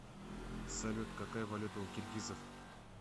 салют какая валюта у киргизов